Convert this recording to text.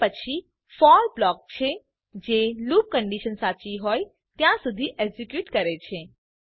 તે પછી for block છે જે લૂપ કન્ડીશન સાચી હોય ત્યાં સુધી એક્ઝીક્યુટ કરે છે